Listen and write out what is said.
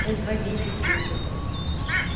производить музыку